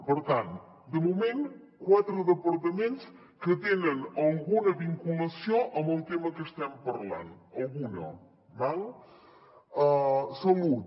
per tant de moment quatre departaments que tenen alguna vinculació amb el tema que estem parlant alguna d’acord salut